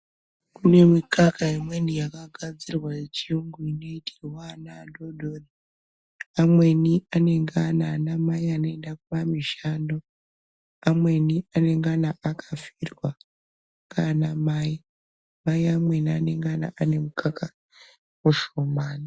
Kune mikaka imweni yakagadzirwa yechiyungu inoitirwa ana adodori amweni anenge ana anamai anoende kumamishando, amweni anengana akafirwa ngaanamai mai amweni anenge ane mukaka mushomani.